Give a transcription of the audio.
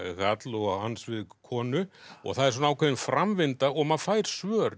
karl og hans við konu og það er ákveðin framvinda og maður fær svör